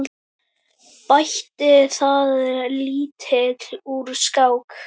Bætti það lítt úr skák.